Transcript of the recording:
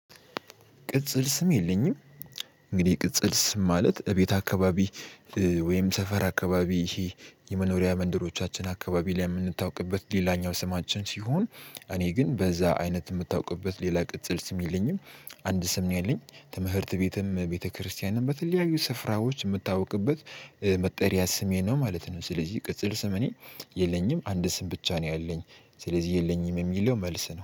ቅጽል ስም የለኝም። እንግዲህ ቅጽል ስም ማለት እቤት አካባቢ ወይም ሰፈር አካባቢ ይሄ የመኖሪያ መንደሮቻችን አካባቢ ላይ የምንታውቅበት ሌላኛው ስማችን ሲሆን እኔ ግን በዛ አይነት የምታውቅበት ሌላ ቅጽል ስም የለኝም። አንድ ስም ነው ያለኝ ትምህርት ቤትም ቤተክርስቲያንም በተለያዩ ስፍራዎች የምታወቅበት መጠሪያ ስሜ ነው ማለት ነው። ስለዚህ ቅጽል ስምኔ የለኝም አንድ ስም ብቻ ነው ያለኝ። ስለዚህ የለኝም የሚለው መልስ ነው